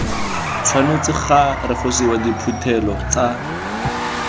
tshwanetse ga refosiwa diphuthelo tsa